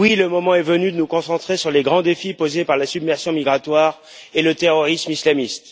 Oui, le moment est venu de nous concentrer sur les grands défis posés par la submersion migratoire et le terrorisme islamiste.